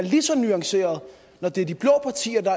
lige så nuanceret når det er de blå partier der